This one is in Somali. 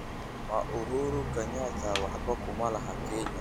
ma uhuru kenyatta waxba kuma laha kenya